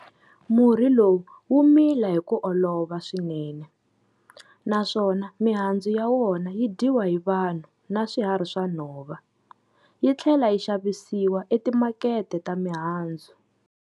Murhi lowu wu mila hi ku olova swinene, naswona mihandzu ya wona yi dyiwa hi vanhu na swihari swa nhova, yi tlhela yi xavisiwa etimakete ta mihandzu.